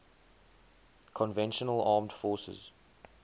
conventional armed forces